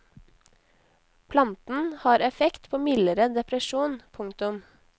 Planten har effekt på mildere depresjon. punktum